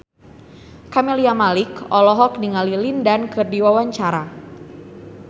Camelia Malik olohok ningali Lin Dan keur diwawancara